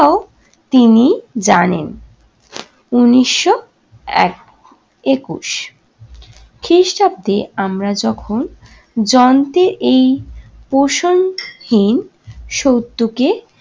তিনি জানেন। উনিশশো এক একুশ খ্রিস্টাব্দে আমরা যখন যন্ত্রের এই পোষণহীন সত্যকে